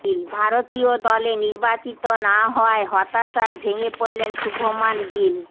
ভারতীয় দলে নির্বাচিত না হওয়ায় হতাশায় ভেঙে পড়লেন শুভমান গিল